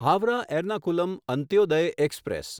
Howrah Ernakulam Antyodaya express